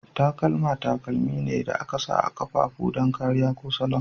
Takalma takalmi ne da aka sa a ƙafafu don kariya ko salon.